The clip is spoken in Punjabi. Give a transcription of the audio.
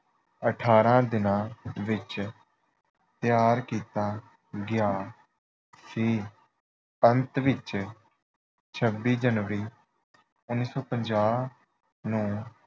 ਅਠਾਰਾਂ ਦਿਨਾਂ ਵਿੱਚ ਤਿਆਰ ਕੀਤਾ ਗਿਆ। ਸੀ। ਅੰਤ ਵਿੱਚ ਛੱਬੀ ਜਨਵਰੀ ਉਨੀ ਸੌ ਪੰਜਾਹ ਨੂੰ